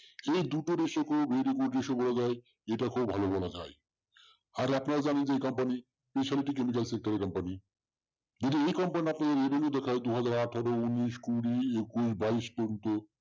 এই দুটো দেশে যেটা খুব ভালো মনে হয় আর যে company company যদি এই company র আপনি দু হাজার আঠারো-উনিশ কুড়ি একুশ, বাইশ পর্যন্ত